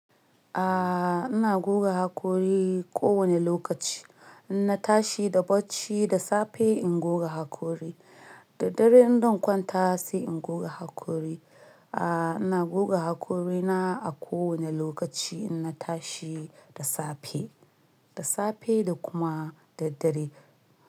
Aaa, ina goga hakori kowane lokaci. In na tashi da bacci da safe in goga hakori. Da dare in zan kwanta sai in goga hakori. Aaa, ina goga hakorina a kowane lokaci in na tashi da safe, da safe da kuma da dare.